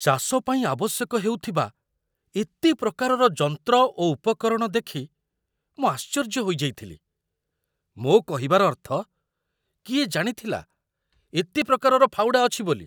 ଚାଷ ପାଇଁ ଆବଶ୍ୟକ ହେଉଥିବା ଏତେ ପ୍ରକାରର ଯନ୍ତ୍ର ଓ ଉପକରଣ ଦେଖି ମୁଁ ଆଶ୍ଚର୍ଯ୍ୟ ହୋଇଯାଇଥିଲି। ମୋ କହିବାର ଅର୍ଥ, କିଏ ଜାଣିଥିଲା ଏତେ ପ୍ରକାରର ଫାଉଡ଼ା ଅଛି ବୋଲି?